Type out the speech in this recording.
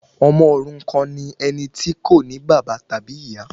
Ọmọ òrukan ni ẹni tí kò ní bàbá tàbí ìyá